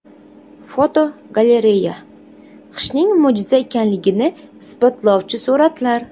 Fotogalereya: Qishning mo‘jiza ekanligini isbotlovchi suratlar.